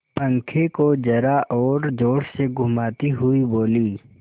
पंखे को जरा और जोर से घुमाती हुई बोली